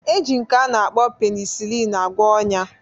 E ji nke a na-akpọ penisilin agwọ ọn̄ya